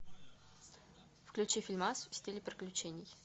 включи фильмас в стиле приключений